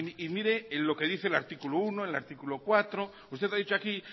y mire lo que dice el artículo uno el artículo cuatro usted ha dicho aquí